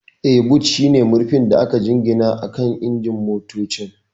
Yes, boot shine murfin da aka jingina akan injin motocin.